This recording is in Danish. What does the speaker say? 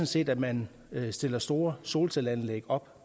set at man stiller store solcelleanlæg op